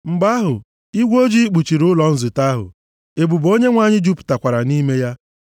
Mgbe ahụ, igwe ojii kpuchiri ụlọ nzute ahụ, ebube Onyenwe anyị jupụtakwara nʼime ya.